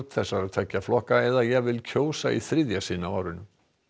þessara tveggja flokka eða jafnvel kjósa í þriðja sinn á árinu